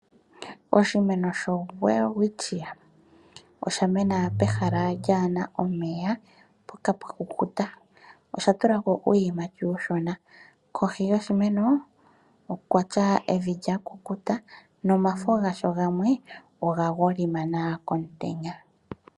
Oshimeno sho welwistchia oshamena pehala kaa lina omeya mpoka pwa kukuta. Oshatulako uuyimati uushona kohi yoshimeno oku na evi lyakukuta nomafo gasho gamwe oga golimana komutenya.